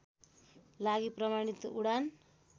लागि प्रमाणित उडान